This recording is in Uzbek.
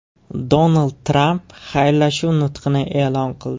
Donald Tramp xayrlashuv nutqini e’lon qildi .